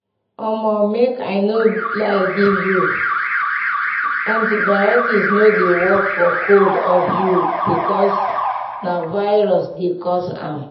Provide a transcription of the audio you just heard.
omo make i no lie give you antibiotics no dey work for cold or flu because na virus dey cause am.